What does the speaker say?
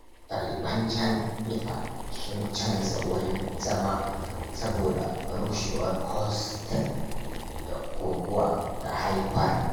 Daliban jami’a sun canza wurin zama saboda rushewar hostel da guguwa ta haifar.